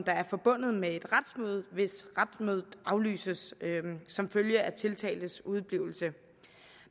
er forbundet med et retsmøde hvis retsmødet aflyses som følge af tiltaltes udeblivelse